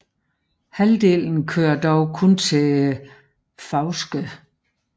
Halvdelen kører dog kun til Fauske